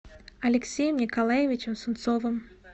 алексеем николаевичем сунцовым